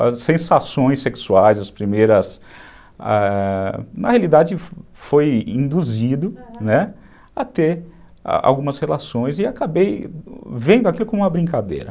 as sensações sexuais, as primeiras, ãh, na realidade foi induzido, né, a ter algumas relações e acabei vendo aquilo como uma brincadeira.